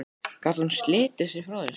Gat hún slitið sig frá þessu?